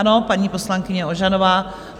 Ano, paní poslankyně Ožanová.